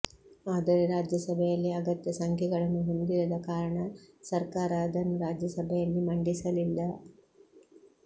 ಆದರೆ ರಾಜ್ಯಸಭೆಯಲ್ಲಿ ಅಗತ್ಯ ಸಂಖ್ಯೆಗಳನ್ನು ಹೊಂದಿರದ ಕಾರಣ ಸರ್ಕಾರ ಅದನ್ನು ರಾಜ್ಯಸಭೆಯಲ್ಲಿ ಮಂಡಿಸಲಿಲ್ಲ